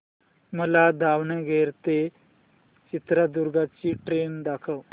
मला दावणगेरे ते चित्रदुर्ग ची ट्रेन दाखव